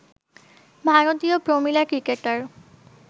ভারতীয় প্রমিলা ক্রিকেটার